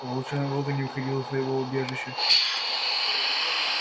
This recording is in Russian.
волчонок долго не выходил из своего убежища